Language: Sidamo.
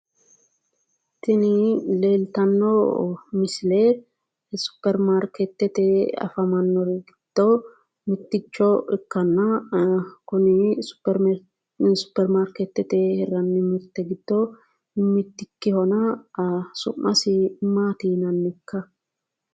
Tini leeltanno misile superimaarkeetete afamannori giddo mitticho ikkanna, kuni superimaarkeetete hirranni mirte giddo mittikkihona, su'masi maati yinannikka?